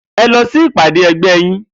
E̩ lo̩ fún ìpàdé e̩gbé yín!